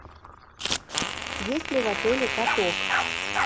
есть ли в отеле каток